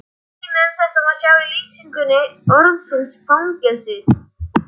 Dæmi um þetta má sjá í lýsingu orðsins fangelsi: